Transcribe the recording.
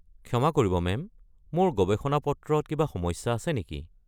ক্ষমা কৰিব মেম, মোৰ গৱেষণা-পত্ৰত কিবা সমস্যা আছে নেকি?